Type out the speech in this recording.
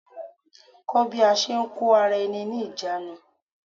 Kó bí a ṣe ń kó ara-ẹni-níjàánu.